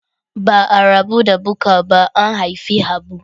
Ba a rabu da Bukar ba an haifi Habu.